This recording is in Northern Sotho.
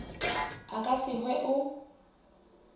a ka se hwe o